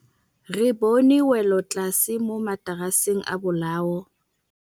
Re bone wêlôtlasê mo mataraseng a bolaô.